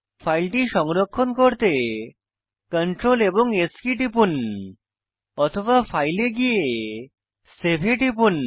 ফাইলটি সংরক্ষণ করতে সিআরটিএল এবং S কী টিপুন অথবা ফাইল এ গিয়ে সেভ এ টিপুন